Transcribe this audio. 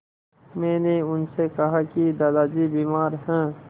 मैंने उनसे कहा कि दादाजी बीमार हैं